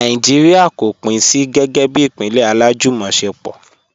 Nàìjíríà kò pín sí gẹ́gẹ́ bí ìpínlẹ̀ alájùmọ̀ṣepọ̀.